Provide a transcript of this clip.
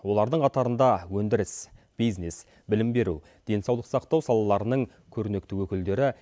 олардың қатарында өндіріс бизнес білім беру денсаулық сақтау салаларының көрнекті өкілдері